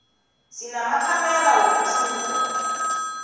sinamakhamera wokutjhuda